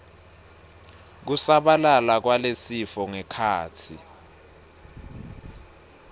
kusabalala kwalesifo ngekhatsi